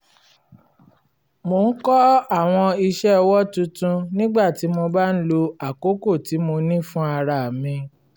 mò ń kọ́ àwọn iṣẹ́ ọwọ́ tuntun nígbà tí mo bá ń lo àkókò tí mo ní fún ara mi